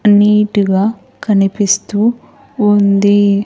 Neat గా కనిపిస్తూ ఉంది.